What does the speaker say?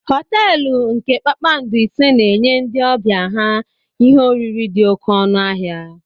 Họteelu nke kpakpando ise na-enye ndị ọbịa ha ihe oriri dị oké ọnụ ahịa.